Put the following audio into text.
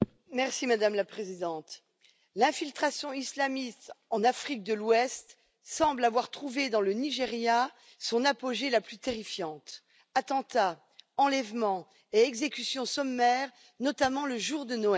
Madame la Présidente, l'infiltration islamiste en Afrique de l'Ouest semble avoir trouvé dans le Nigeria son apogée le plus terrifiant attentats, enlèvements et exécutions sommaires, notamment le jour de Noël.